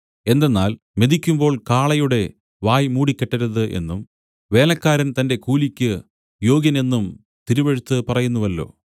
എന്തെന്നാൽ മെതിക്കുമ്പോൾ കാളയുടെ വായ് മൂടിക്കെട്ടരുത് എന്നും വേലക്കാരൻ തന്റെ കൂലിക്ക് യോഗ്യൻ എന്നും തിരുവെഴുത്ത് പറയുന്നുവല്ലോ